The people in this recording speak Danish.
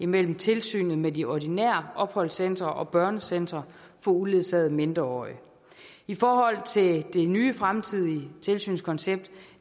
mellem tilsynet med de ordinære opholdscentre og børnecentre for uledsagede mindreårige i forhold til det nye fremtidige tilsynskoncept